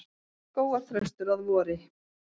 Skógarþröstur að vori.